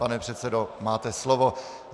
Pane předsedo, máte slovo.